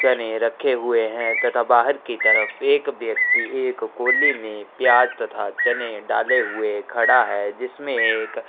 चने रखे हुए है तथा बाहर की तरफ एक व्यक्ति एक कोली में प्याज़ तथा चने डाले हुए खडा है जिसमें एक --